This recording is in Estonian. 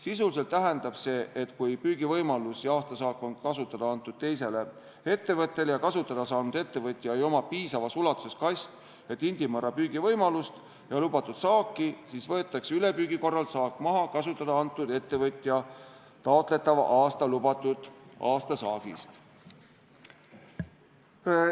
Sisuliselt tähendab see, et kui püügivõimalus ja aastasaak on kasutada antud teisele ettevõtjale ja kasutada saanud ettevõtjal ei ole piisavas ulatuses kast- ja tindimõrraga püügi võimalust ja lubatud saaki, siis võetakse ülepüügi korral saak maha kasutada andnud ettevõtja taotletava aasta lubatud aastasaagist.